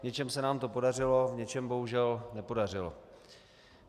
V něčem se nám to podařilo, v něčem bohužel nepodařilo.